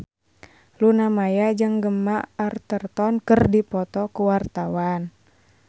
Luna Maya jeung Gemma Arterton keur dipoto ku wartawan